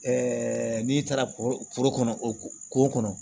n'i taara foro kɔnɔ o ko kɔnɔ